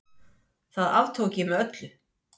Alla vega í eitt enn.